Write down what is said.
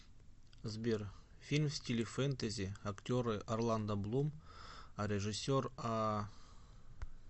сбер фильм в стиле фентези актеры орландо блум а режиссер а